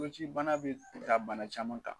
Koci bana be ta bana caman kan